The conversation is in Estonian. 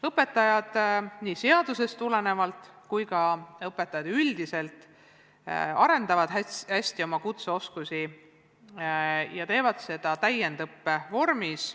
Õpetajad, nii seadusest tulenevalt kui ka õpetajad üldiselt, arendavad hästi oma kutseoskusi ja teevad seda täiendusõppe vormis.